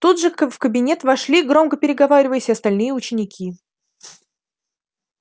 тут же в кабинет вошли громко переговариваясь и остальные ученики